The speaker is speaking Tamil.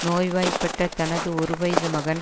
நோய்வாய்ப்பட்ட தனது ஒரு வயது மகன்